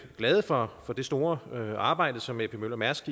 glade for det store arbejde som ap møller mærsk